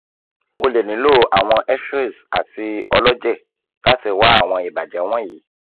o le nilo awọn xrays ati ọlọjẹ lati wa awọn ibajẹ wọnyi